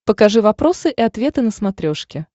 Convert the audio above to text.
покажи вопросы и ответы на смотрешке